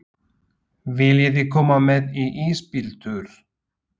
Viljiði koma með í ísbíltúr?